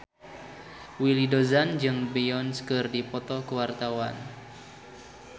Willy Dozan jeung Beyonce keur dipoto ku wartawan